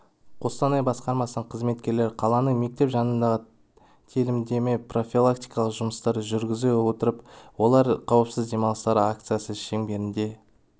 қостанай басқармасының қызметкерлері қаланың мектеп жанындағы телімінде профилактикалық жұмыстарды жүргізіп отыр олар қауіпсіз демалыстар акциясы шеңберінде